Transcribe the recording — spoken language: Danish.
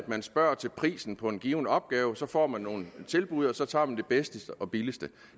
man spørger til prisen på en given opgave så får man nogle tilbud og så tager man det bedste og billigste